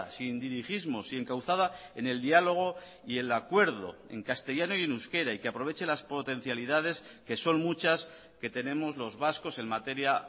sin dirigismos y encauzada en el diálogo y el acuerdo en castellano y en euskera y que aproveche las potencialidades que son muchas que tenemos los vascos en materia